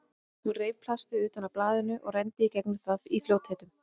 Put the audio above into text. Hún reif plastið utan af blaðinu og renndi í gegnum það í fljótheitum.